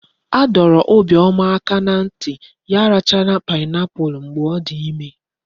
A dọrọ Obioma aka na nti ya arachala pineapple mgbe odi ime